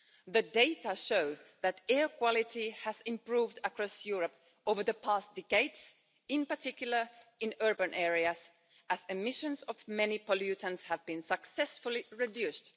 The data show that air quality has improved across Europe over the past decades, in particular in urban areas, as emissions of many pollutants have been successfully reduced.